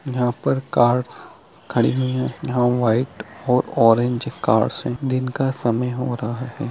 यहां पर कार्स खड़ी हुई है यहां व्हाइट और ऑरेंज कार से दिन का समय हो रहा है।